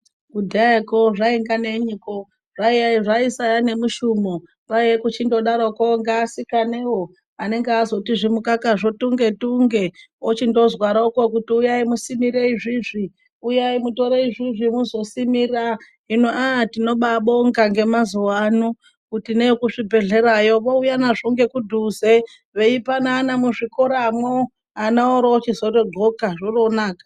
Kudhayako zvainga nenyiko, zvaisaa nemushumo. Kwaiye kuchindodaroko ngeasikanewo anenge azoti zvimukaka tunge tunge. Ochindozwaroko kuti uyai musimire izvizvi, uyai mutore izvizvi muzosimira. Hino ah tinobaabonga ngemazuva ano kuti neekuzvibhehlerayo vouya nazvo nekudhuze, veipanana muzvikoramo, ana oorochizotodxoka, zvoroonaka.